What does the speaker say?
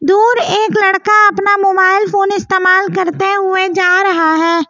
दूर एक लड़का अपना मोबाइल फोन इस्तेमाल करते हुए जा रहा है।